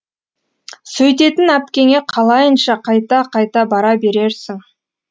сөйтетін әпкеңе қалайынша қайта қайта бара берерсің